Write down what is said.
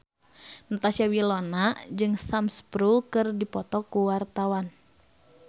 Natasha Wilona jeung Sam Spruell keur dipoto ku wartawan